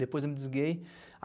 Depois eu me desliguei.